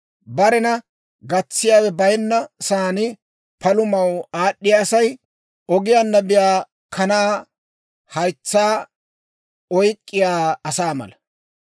Barena gatsiyaawe bayinna saan palamaw aad'd'iyaa Asay ogiyaanna biyaa kanaa haytsaa oyk'k'iyaa asaa mala.